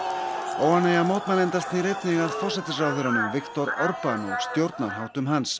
óánægja mótmælenda snýr einnig að forsætisráðherranum Viktor Orban og stjórnarháttum hans